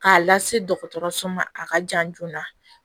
K'a lase dɔgɔtɔrɔso ma a ka jan joona